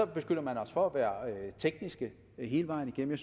beskylder man os for at være tekniske hele vejen igennem